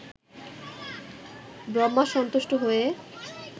ব্রহ্মা সন্তুষ্ট হয়ে